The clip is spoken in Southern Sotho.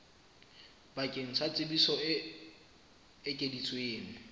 bakeng sa tsebiso e ekeditsweng